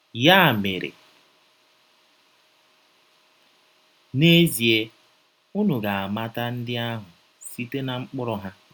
Ya mere, n’ezie, ụnụ ga - amata ndị ahụ site ná mkpụrụ ha. ”